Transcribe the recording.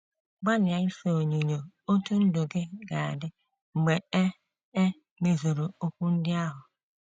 Gbalịa ise onyinyo otú ndụ gị ga - adị mgbe e e mezuru okwu ndị ahụ.